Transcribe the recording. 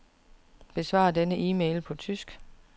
Besvar denne e-mail på tysk.